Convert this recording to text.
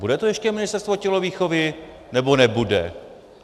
Bude to ještě ministerstvo tělovýchovy, nebo nebude?